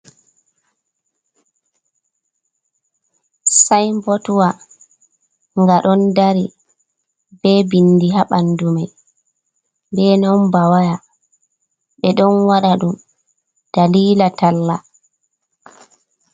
Saibotwa nga ɗon dari be bindi haɓandumai, be nambawaya, ɓe ɗon waɗa ɗum dalila talla.